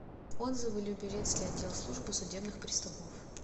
отзывы люберецкий отдел службы судебных приставов